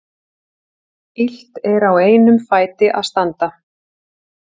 Illt er á einum fæti að standa.